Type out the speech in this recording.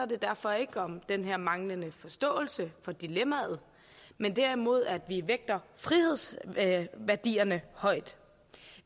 det derfor ikke om den her manglende forståelse for dilemmaet men derimod om at vi vægter frihedsværdierne højt